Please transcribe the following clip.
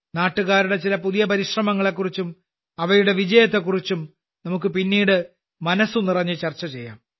നാട്ടുകാരുടെ ചില പുതിയ ശ്രമങ്ങളെക്കുറിച്ചും അവയുടെ വിജയത്തെക്കുറിച്ചും നമുക്ക് പിന്നീട് മനസ്സ് നിറഞ്ഞ് ചർച്ച ചെയ്യാം